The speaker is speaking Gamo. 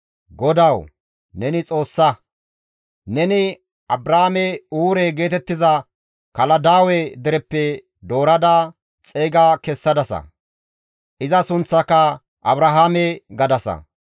GODAWU, neni Xoossa! Neni Abraame Uure geetettiza Kaladaawe dereppe doorada xeyga kessadasa; iza sunththaaka Abrahaame gadasa.